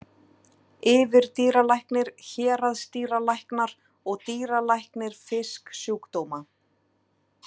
Yfirdýralæknir, héraðsdýralæknar og dýralæknir fisksjúkdóma.